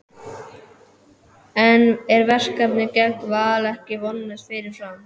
En er verkefnið gegn Val ekki vonlaust fyrirfram?